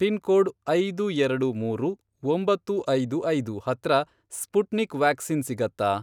Pin code, ಐದು ಎರಡು ಮೂರು, ಒಂಬತ್ತು ಐದು ಐದು, ಹತ್ರ ಸ್ಪುಟ್ನಿಕ್ ವ್ಯಾಕ್ಸಿನ್ ಸಿಗತ್ತಾ?